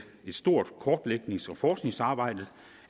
stort kortlægnings og forskningsarbejde